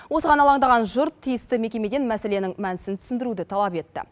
осыған алаңдаған жұрт тиісті мекемеден мәселенің мәнісін түсіндіруді талап етті